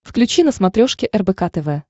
включи на смотрешке рбк тв